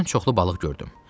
Birdən çoxlu balıq gördüm.